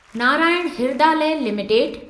Narayan Hrudayalaya limited